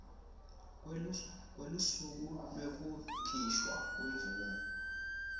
kwelusuku lwekukhishwa kwemvumo